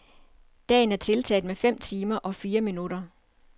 Dagen er tiltaget med fem timer og fire minutter.